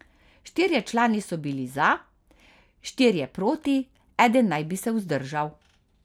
Štirje člani so bili za, štirje proti, eden naj bi se vzdržal.